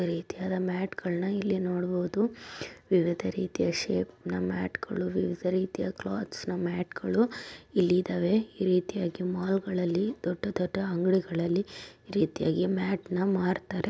ವಿವಿಧ ರೀತಿಯಾದ ಮ್ಯಾಟ್ ಗಳನ್ನ ಇಲ್ಲಿ ನೋಡ್ಬೋದು ವಿವಿಧ ರೀತಿಯ ಶೇಪ್ ನ ಮ್ಯಾಟ್ಗಳು ವಿವಿಧ ರೀತಿಯ ಕ್ಲಾತ್ಸ್ ನ ಮ್ಯಾಟ್ಗಳು ಇಲ್ಲಿ ಇದಾವೆ. ಈ ರೀತಿಯಾಗಿ ಮಾಲ್ ಗಳಲ್ಲಿ ದೊಡ್ಡ ದೊಡ್ಡ ಅಂಗಡಿಗಳಲ್ಲಿ ಈ ರೀತಿಯಾಗಿ ಮ್ಯಾಟ್ನ ಮಾರ್ತಾರೆ.